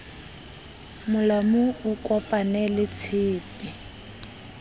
molamu o kopane le tshepe